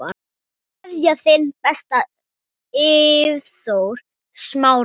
Kveðja, þinn besti, Eyþór Smári.